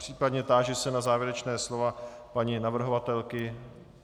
Případně se táži na závěrečná slova paní navrhovatelky.